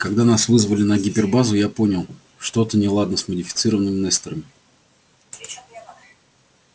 когда нас вызвали на гипербазу я понял что-то неладно с модифицированными несторами